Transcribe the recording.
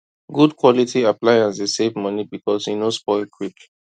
good quality appliance dey save money because e no spoil quick